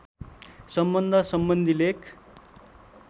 सम्बन्ध सम्बन्धी लेख